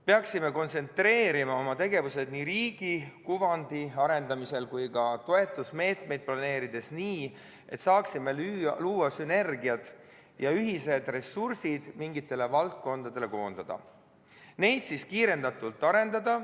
Peaksime kontsentreerima oma tegevused nii riigi kuvandi arendamisel kui ka toetusmeetmeid planeerides nii, et saaksime luua sünergiat ja ühised ressursid mingitele valdkondadele koondada ning neid siis kiirendatult arendada.